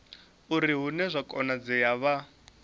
uri hune zwa konadzea vha